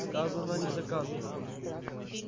сказано не доказано